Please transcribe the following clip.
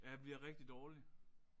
Ja jeg bliver rigtig dårlig